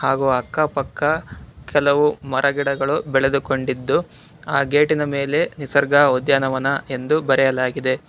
ಹಾಗೂ ಅಕ್ಕ-ಪಕ್ಕ ಕೆಲವು ಮರ ಗಿಡಗಳು ಬೆಳೆದುಕೊಂಡಿದ್ದು ಆ ಗೇಟಿನ ಮೇಲೆ ನಿಸರ್ಗ ಉದ್ಯಾನವನ ಎಂದು ಬರೆಯಲಾಗಿದೆ.